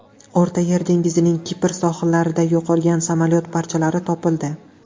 O‘rta Yer dengizining Kipr sohillarida yo‘qolgan samolyot parchalari topildi.